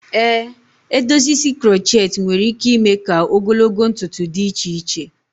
Ee, edozi isi crochet nwere ike ime ka ogologo ntutu dị iche iche.